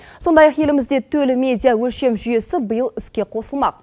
сондай ақ елімізде төл медиа өлшем жүйесі биыл іске қосылмақ